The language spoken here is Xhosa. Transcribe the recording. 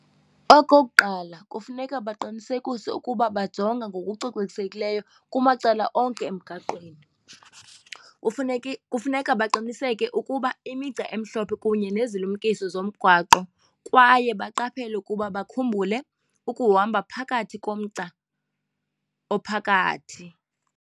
Okokuqala kufuneka baqinisekise ukuba bajonga ngokucocekisekileyo kumacala onke emgaqweni. Kufuneke kufuneka baqiniseke ukuba imigca emhlophe kunye nezilumkisi zomgwaqo kwaye baqaphele ukuba bakhumbule ukuhamba phakathi komgca ophakathi.